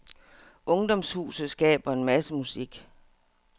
Ungdomshuset skaber en masse musik.